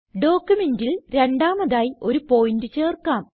ഡോക്യുമെന്റിൽ രണ്ടാമതായി ഒരു പോയിന്റ് ചേർക്കാം